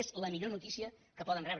és la millor notícia que poden rebre